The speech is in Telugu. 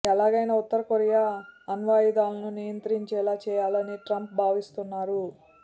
ఎలాగైనా ఉత్తర కొరియా అణ్వాయుధాలను నియంత్రించేలా చేయాలని ట్రంప్ భావిస్తున్నారు